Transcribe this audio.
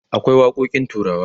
akwai waƙoƙin turawa